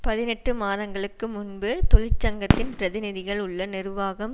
பதினெட்டு மாதங்களுக்கு முன்பு தொழிற்சங்கத்தின் பிரதிநிதிகள் உள்ள நிர்வாகம்